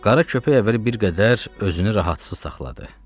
Qara köpək əvvəl bir qədər özünü rahatsız saxladı.